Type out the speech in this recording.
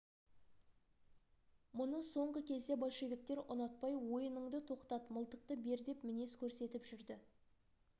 мұны соңғы кезде большевиктер ұнатпай ойыныңды тоқтат мылтықты бер деп мінез көрсетіп жүрді